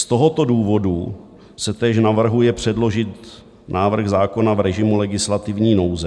Z tohoto důvodu se též navrhuje předložit návrh zákona v režimu legislativní nouze.